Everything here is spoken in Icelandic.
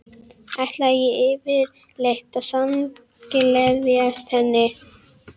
Ætlaði ég yfirleitt að samgleðjast henni?